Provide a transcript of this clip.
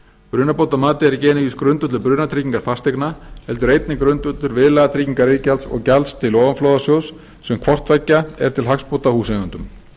brunabótamatið er ekki einungis grundvöllur brunatryggingar fasteigna heldur einnig grundvöllur viðlagatryggingariðgjalds og gjalds til ofanflóðasjóðs sem hvort tveggja er til hagsbóta húseigendum